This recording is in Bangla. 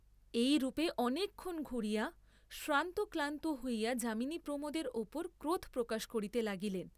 এইরূপে অনেকক্ষণ ঘুরিয়া শ্রান্ত ক্লান্ত হইয়া যামিনী প্রমোদের উপর ক্রোধ প্রকাশ করিতে লাগিলেন।